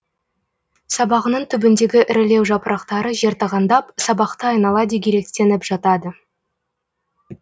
сабағының түбіндегі ірілеу жапырақтары жертағандап сабақты айнала дегелектеніп жатады